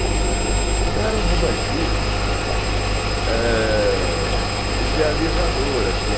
Então, era um romantismo, eh idealizador, assim.